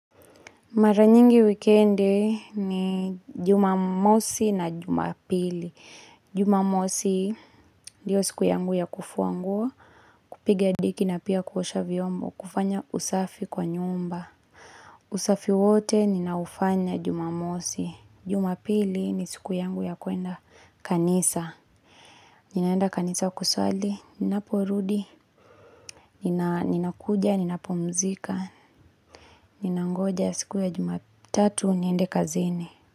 Mara nyingi wikendi ni jumamosi na jumapili. Jumamosi ndiyo siku yangu ya kufua nguo, kupigia deki na pia kuosha vyombo, kufanya usafi kwa nyumba. Usafi wote ninaufanya jumamosi. Jumapili ni siku yangu ya kuenda kanisa. Ninaenda kanisa kusali, ninaporudi, ninakuja, ninapumzika, ninangoja siku ya jumatatu, niende kazini.